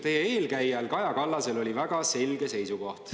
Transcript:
Teie eelkäijal Kaja Kallasel oli väga selge seisukoht.